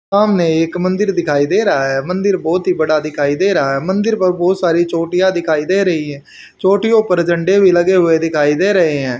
सामने एक मंदिर दिखाई दे रहा है। मंदिर बहुत ही बड़ा दिखाई दे रहा है। मंदिर पर बहुत सारी चोटियां दिखाई दे रही हैं। चोटियों पर झंडे भी लगे हुए दिखाई दे रहे हैं।